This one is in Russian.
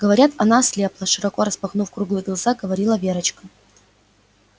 говорят она ослепла широко распахнув круглые глаза говорила верочка